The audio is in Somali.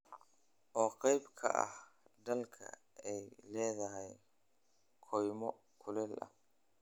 oo qayb ka mid ah dalka ay leedahay kaymo kuleyl ah